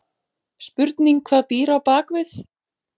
Spurning hvað býr á bakvið?!